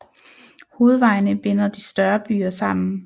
Hovedvejene binder de større byer sammen